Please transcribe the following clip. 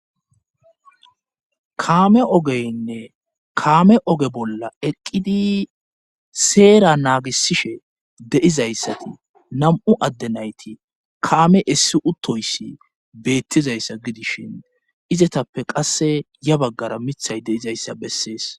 kaame ogeynne kaame oge bolla eqqidi seera naagisishe deizayssati nam7u adde nayti kaame essi uttoyssi beettizayssa gidishin izatappe qasse ya baggara mithay deizayssa bessees